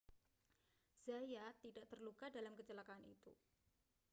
zayat tidak terluka dalam kecelakaan itu